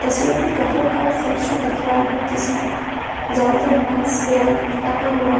तस्वीर में कपड़ों का सेक्शन दिख रहा है जिसमें ज्यादातर मेंस वियर टंगा हुआ है।